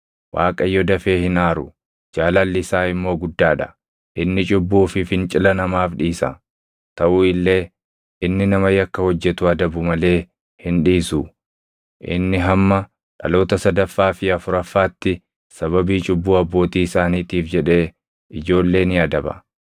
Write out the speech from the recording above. ‘ Waaqayyo dafee hin aaru; jaalalli isaa immoo guddaa dha; inni cubbuu fi fincila namaaf dhiisa. Taʼu illee inni nama yakka hojjetu adabu malee hin dhiisu; inni hamma dhaloota sadaffaa fi afuraffaatti sababii cubbuu abbootii isaaniitiif jedhee ijoollee ni adaba.’